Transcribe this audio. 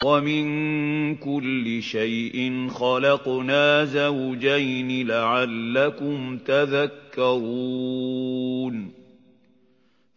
وَمِن كُلِّ شَيْءٍ خَلَقْنَا زَوْجَيْنِ لَعَلَّكُمْ تَذَكَّرُونَ